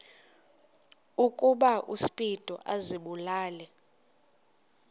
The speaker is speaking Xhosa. ukuba uspido azibulale